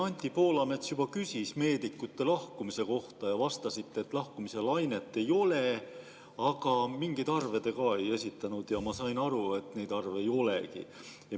Anti Poolamets juba küsis meedikute lahkumise kohta ja te vastasite, et lahkumislainet ei ole, aga mingeid arve te ei esitanud ja ma sain aru, et neid arve ei olegi.